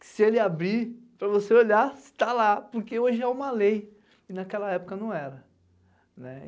que se ele abrir, para você olhar se está lá, porque hoje é uma lei, e naquela época não era, né?